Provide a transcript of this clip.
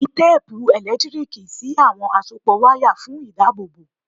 Fi téèpu ẹ̀lẹ́tíríìkì sí àwọn àsopọ̀ wáyà fún ìdábòbò.